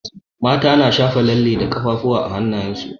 Mata na shafa lalle a kafafuwa da hanayen su.